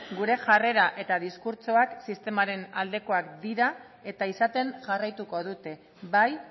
gure jarrera eta diskurtsoak sistemaren aldekoak dira eta izaten jarraituko dute bai